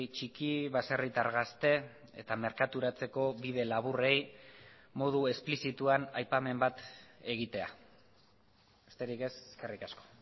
txiki baserritar gazte eta merkaturatzeko bide laburrei modu esplizituan aipamen bat egitea besterik ez eskerrik asko